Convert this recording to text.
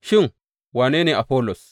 Shin, wane ne Afollos?